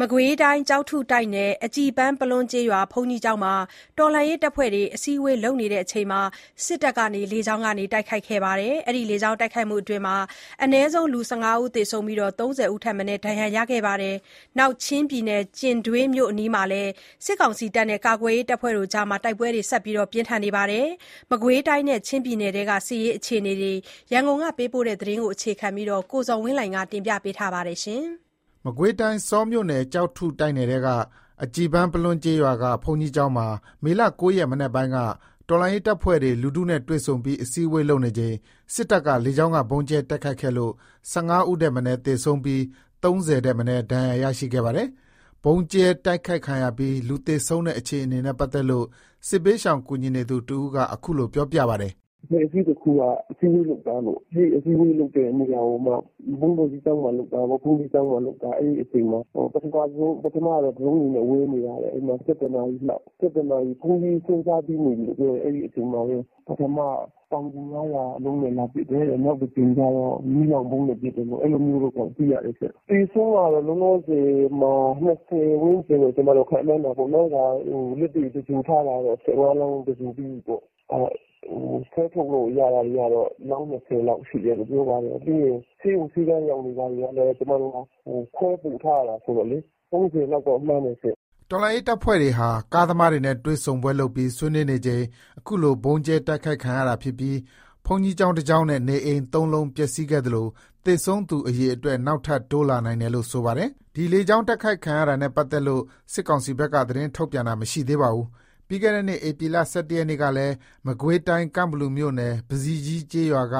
မကွေးတိုင်း၊ ကျောက်ထုတိုက်နယ်၊ အကြည်ပန်းပလွန်းကျေးရွာ ဘုန်းကြီးကျောင်းမှာ တော်လှန်ရေးတပ်ဖွဲ့တွေ အစည်းဝေးလုပ်နေချိန် စစ်တပ်က လေကြောင်းက တိုက်ခိုက်ခဲ့လို့ အနည်းဆုံး ၁၅ ဦး သေဆုံးပြီး ၃၀ ဦးထက်မနည်းလည်း ဒဏ်ရာရရှိခဲ့ပါတယ်။ ချင်းပြည်နယ် ကျင်ဒွေးမြို့အနီးမှာလည်း စစ်တပ်နဲ့ ကာကွယ်ရေးတပ်ဖွဲ့တွေအကြား တိုက်ပွဲတွေ ဆက်ရှိနေပါတယ်။ မကွေးတိုင်းနဲ့ ချင်းပြည်နယ်ထဲက အခြေအနေတွေအကြောင်း ရန်ကုန်ကပေးပို့တဲ့သတင်းကို အခြေခံပြီး ကိုဇော်ဝင်းလှိုင်က တင်ပြပေးထားပါတယ်။ မကွေးတိုင်း၊ ဆောမြို့နယ်၊ ကျောက်ထုတိုက်နယ်ထဲက အကြည်ပန်းပလွန်းကျေးရွာက ဘုန်းကြီးကျောင်းမှာ မေ ၉ ရက် မနက်ပိုင်းက တော်လှန်ရေးတပ်ဖွဲ့တွေ လူထုနဲ့တွေ့ဆုံပြီး အစည်းဝေးလုပ်နေချိန် စစ်တပ်က လေကြောင်းက ဗုံးကြဲတိုက်ခိုက်ခဲ့လို့ ၁၅ ဦးထက် မနည်း သေဆုံးပြီး ၃၀ ဦးထက်မနည်း ဒဏ်ရာရရှိခဲ့တာပါ။ ဗုံးကြဲတိုက်ခိုက်ခံရပြီး လူသေဆုံးတဲ့အခြေအနေနဲ့ ပတ်သက်လို့ စစ်ဘေးရှောင်ကူညီနေသူ တဦးက အခုလို ပြောပြပါတယ်။ "အဖွဲ့အစည်းတခုက အစည်းဝေးလုပ်တာ အစည်းဝေးလုပ်တဲ့နေရာကို ဘုန်းတော်ကြီးကျောင်းမှာလုပ်တာ။ အဲ့အချိန်မှာ ပထမဆုံး ဒရုန်းတွေဝဲနေတာ။ ၁၁ နာရီလောက် ဘုန်းကြီးဆွမ်းစားပြီးနေပြီ။ အဲ့မှာ ပထမဆုံး ပေါင် ၅၀၀ အလုံးနဲ့ လာပစ်တယ်။ နောက်တကြိမ်မှာ မီးလောင်ဗုံးနဲ့ လာပစ်တယ်လို့ အဲ့လိုသိရတယ်ရှင့်။ သေဆုံးက လောလောဆယ်မှာ ၂၀ ဝန်းကျင်လို့ ခန့်မှန်းတာပေါ့နော်။ လက်တွေ့ သဂြိုလ်ထားတာတော့ ၁၅ လောင်း သဂြိုလ် ပြီးပြီပေါ့။ ဆွဲထုတ်လို့ရတာတွေက အလောင်း ၂၀ လောက် ရှိတယ်လို့ ပြောတာပဲ။ ဆေးရုံဆေးခန်းရောက်နေတာတွေကလည်း ကျွန်မတို့က ခွဲပို့ထားရတာဆိုတော့လေ ၃၀ လောက်တော့ မှန်းတယ်ရှင့်" တော်လှန်ရေး တပ်ဖွဲ့တွေဟာ ကားသမားတွေနဲ့ တွေ့ဆုံပွဲလုပ်ပြီး ဆွေးနွေးနေချိန် အခုလို ဗုံးကြဲတိုက်ခိုက်ခံရတာဖြစ်ပြီး ဘုန်းကြီးကျောင်း ၁ ကျောင်းနဲ့ နေအိမ် ၃ လုံး ပျက်စီးခဲ့သလို သေဆုံးသူအရေအတွက် နောက်ထပ် ထပ်တိုးလာနိုင်တယ်လို့ ဆိုပါတယ်။ ဒီလေကြောင်းတိုက်ခိုက်တာနဲ့ ပတ်သက်လို့ စစ်ကောင်စီက သတင်းထုတ်ပြန်တာ မရှိသေးပါဘူး။ ပြီးခဲ့တဲ့နှစ် ဧပြီ ၁၁ ရက်ကလည်း မကွေးတိုင်း ကန့်ဘလူမြို့နယ်၊ ပဇီကြီးကျေးရွာက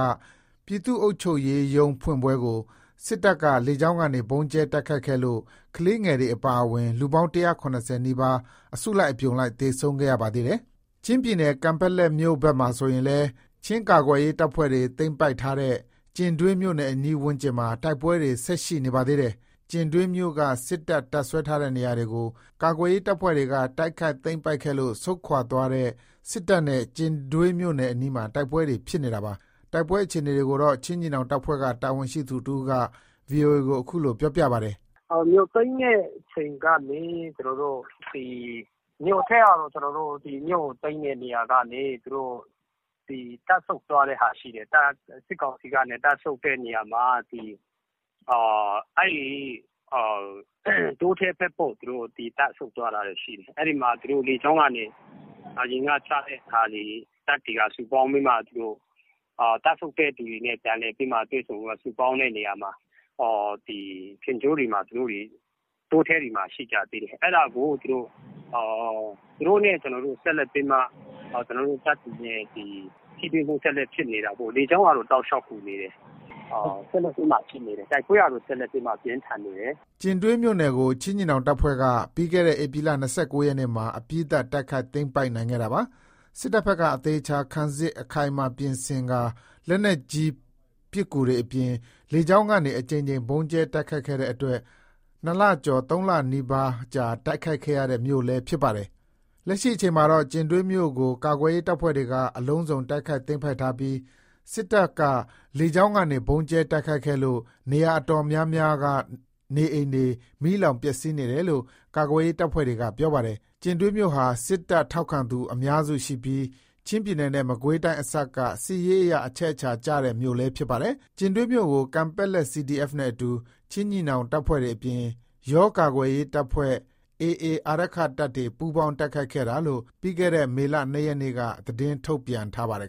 ပြည်သူ့အုပ်ချုပ်ရေး ရုံးဖွင့်ပွဲကို စစ်တပ်ဘက်က လေကြောင်းကနေ ဗုံးကြဲတိုက်ခိုက်ခဲ့လို့ ကလေးငယ်တွေ အပါအဝင် လူပေါင်း ၁၇၀ နီးပါး အစုလိုက်အပြုံလိုက် သေဆုံးခဲ့ရပါသေးတယ်။ ချင်းပြည်နယ် ကန်ပက်လက်မြို့ဘက်မှာဆိုရင်လည်း ချင်းကာကွယ်ရေးတပ်ဖွဲ့တွေ သိမ်းပိုက်ထားတဲ့ ကျင်ဒွေးမြို့အနီးဝန်းကျင်မှာ တိုက်ပွဲတွေ ဆက်ရှိနေပါသေးတယ်။ ကျင်ဒွေးမြို့က စစ်တပ် တပ်စွဲထားတဲ့နေရာတွေကို ကာကွယ်ရေး တပ်ဖွဲ့တွေက တိုက်ခိုက် သိမ်းပိုက်ခဲ့လို့ ဆုတ်ခွါသွားတဲ့ စစ်တပ်နဲ့ ကျင်ဒွေးမြို့အနီးမှာ တိုက်ပွဲတွေ ဖြစ်နေတာပါ။ တိုက်ပွဲအခြေနေတွေကိုတော့ ချင်းညီနောင်တပ်ဖွဲ့က တာဝန်ရှိသူ တဦးက ဗွီအိုအေကို အခုလို ပြောပြပါတယ်။ "မြို့သိမ်းတဲ့အချိန်ကနေ သူတို့ မြို့ကို သိမ်းတဲ့နေရာကနေ တပ်ဆုတ်သွားတဲ့ဟာရှိတယ်။ စစ်ကောင်စီက တပ်ဆုတ်တဲ့နေရာမှာ တောထဲဘက်ပေါ့ တပ်ဆုတ်သွားတာတွေရှိတယ်။ အဲ့မှာ လေကြောင်းက ချတဲ့ဟာတွေနဲ့ စုပေါင်းပြီးတော့မှ သူတို့တပ်ဆုတ်တဲ့သူတွေနဲ့ ဆုပေါင်းပြီးတော့မှ သူတို့တွေ တောထဲတွေမှာရှိကြသေးတယ်။ အဲ့ဒါကို သူတို့နဲ့ ကျွန်တော်တို့ ဆက်လက်ပြီးတော့မှ ကျွန်တော်တို့နဲ့ ထိတွေ့မှု ဆက်လက်ဖြစ်နေတာပေါ့။ လေကြောင်းက တောက်လျှောက်ကူနေတယ်။ ဆက်လက်ပြီးမှဖြစ်နေတယ်။ ဆက်လက်ပြီးမှ ပြင်းထန်နေတယ်။" ကျင်ဒွေးမြို့ကို ချင်းညီနောင်တပ်ဖွဲ့က ပြီးခဲ့တဲ့ ဧပြီ ၂၉ ရက်မှာ အပြီးသတ် တိုက်ခိုက် သိမ်းပိုက်နိုင်ခဲ့တာပါ။ စစ်တပ်ဘက်က အသေအချာ ခံစစ် အခိုင်အမာ ပြင်ဆင်ကာ လက်နက်ကြီး ပစ်ကူတွေအပြင် လေကြောင်းကနေ အကြိမ်ကြိမ် ဗုံးကြဲတိုက်ခိုက်ခဲ့တဲ့အတွက် ၂ လကျော် ၃ လ နီးပါး တိုက်ခိုက်ခဲ့ရတဲ့ မြို့လည်းဖြစ်ပါတယ်။ လက်ရှိအချိန်မှာတော့ ကျင်ဒွေးမြို့ကို ကာကွယ်ရေး တပ်ဖွဲ့တွေက အလုံးစုံ တိုက်ခိုက်သိမ်းပိုက်ထားပြီး စစ်တပ်ဘက်က လေကြောင်းကနေ ဗုံးကြဲတိုက်ခိုက်ခဲ့လို့ မြို့နေရာတော်တော်များများက နေအိမ်တွေ မီးလောင်ပျက်စီးနေတယ်လို့ ကာကွယ်ရေး တပ်ဖွဲ့တွေက ပြောပါတယ်။ ကျင်ဒွေးမြို့ဟာ စစ်တပ် ထောက်ခံသူ အများစုရှိပြီး ချင်းပြည်နယ်နဲ့ မကွေးတိုင်းအစပ်က စစ်ရေးအရ အချက်အခြာကျတဲ့မြို့လည်းဖြစ်ပါတယ်။ ကျင်ဒွေးမြို့ကို ကန်ပက်လက် CDF နဲ့အတူ ချင်းညီနောင်တပ်ဖွဲ့တွေအပြင် ယောကာကွယ်ရေးတပ်ဖွဲ့၊ AA အာရက္ခတပ်တွေ ပူးပေါင်း တိုက်ခိုက်ခဲ့တာလို့ ပြီးခဲ့တဲ့ မေလ ၂ ရက်က သတင်းထုတ်ပြန်ထားပါတယ်